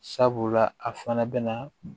Sabula a fana bɛna